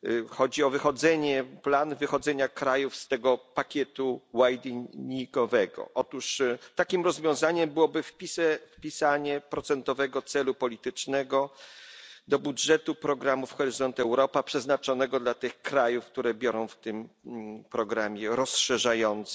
Chodzi o plan wychodzenia krajów z tego pakietu wideningowego. Otóż takim rozwiązaniem byłoby wpisanie procentowego celu politycznego do budżetu programów Horyzont Europa przeznaczonego dla tych krajów, które biorą w tym programie rozszerzającym